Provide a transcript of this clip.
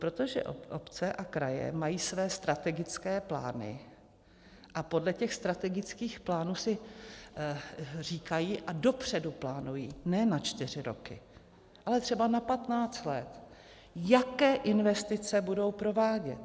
Protože obce a kraje mají své strategické plány a podle těch strategických plánů si říkají a dopředu plánují ne na čtyři roky, ale třeba na patnáct let, jaké investice budou provádět.